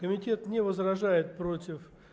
комитет не возражает против